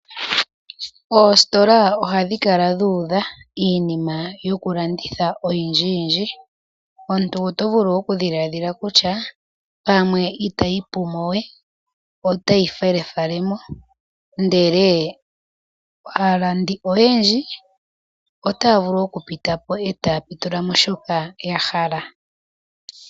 Oositola ohadhi kala dhuudha iinima yokulanditha oyindji yindji. Omuntu oto vulu okudhiladhila kutya pamwe itayi pu mo we, otayi felefale mo ndele aalandi oyendji otaya vulu okupita po etaya pitula mo shoka ya hala.